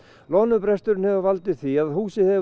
loðnubresturinn hefur valdið því að húsið hefur